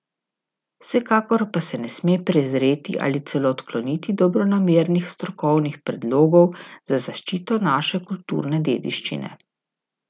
Vsekakor pa se ne sme prezreti ali celo odkloniti dobronamernih strokovnih predlogov za zaščito naše kulturne dediščine.